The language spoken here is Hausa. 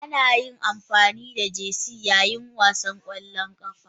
Ana amfani da Jerseys yayin wasan ƙwallon ƙafa.